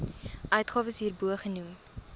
uitgawes hierbo genoem